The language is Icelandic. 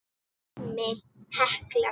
Dæmi: Hekla